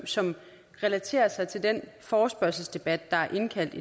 som relaterer sig til den forespørgselsdebat der er indkaldt